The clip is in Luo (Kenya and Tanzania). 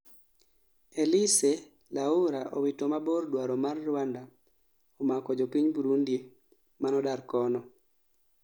Elise laura owito mabor dwaro mar Rwanda omako jopiny Burundi manodar kono